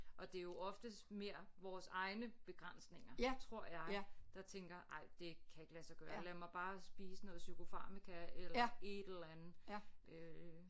Og det er jo oftest mere vores egne begrænsninger tror jeg der tænker ej det kan ikke lade sig gøre lad mig bare spise noget chokofarmica eller et eller andet øh